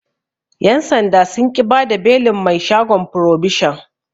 Yan' sanda sun ƙi bada belin mai shagon frobishon.